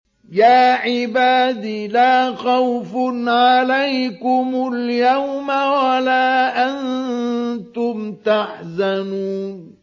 يَا عِبَادِ لَا خَوْفٌ عَلَيْكُمُ الْيَوْمَ وَلَا أَنتُمْ تَحْزَنُونَ